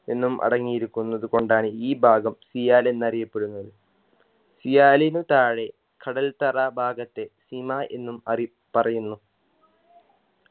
എന്നും അടങ്ങിയിരിക്കുന്നത് കൊണ്ടാണ് ഈ ഭാഗം സിയാൽ എന്നറിയപ്പെടുന്നത് സിയാലിന് താഴെ കടൽ തറ ഭാഗത്തെ സിമ എന്നും അറി പറയുന്നു